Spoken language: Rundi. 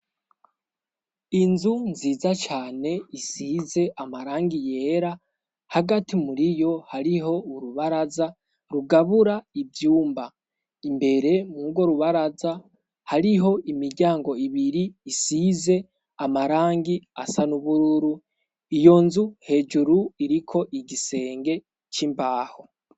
Inzu nziza cane isize amarangi yera hagati muri yo hariho urubaraza rugabura ivyumba imbere mu go urubaraza hariho imiryango ibiri isize amarangi asa n'ubururu iyo nzu hejuru iriko igisenge c'imbaho.